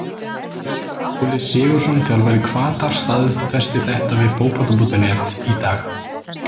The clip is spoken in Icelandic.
Kristján Óli SIgurðsson þjálfari Hvatar staðfesti þetta við Fótbolta.net í dag.